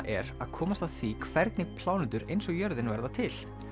er að komast að því hvernig plánetur eins og jörðin verða til